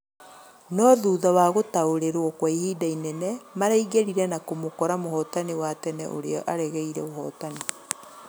No thutha wa gutaũrirwo kwa ihinda inene, maraingĩrire na kũmũkora mũhotani wa tene ũria aregeire ũhotani.